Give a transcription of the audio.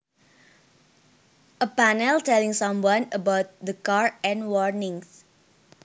A panel telling someone about the car and warnings